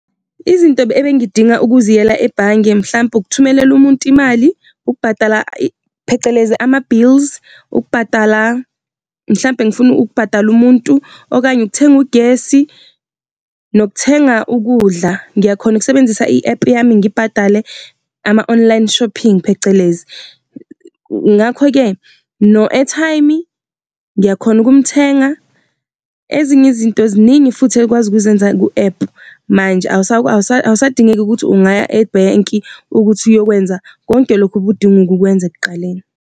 Izinto ebengidinga ukuziyela ebhange mhlampe ukuthumelela umuntu imali, ukubhadala phecelezi ama-bills, ukubhadala mhlampe ngifuna ukubhadala umuntu, okanye ukuthenga ugesi nokuthenga ukudla, ngiyakhona ukusebenzisa i-app yami ngibhadale ama-online shopping phecelezi. Ngakho-ke no-airtime ngiyakhona ukumthenga ezinye izinto ziningi futhi ekwazi ukuzenza ku-app manje, awusadingeki ukuthi ungaya ebhenki ukuthi uyokwenza konke lokhu obudinga ukukwenza ekuqaleni.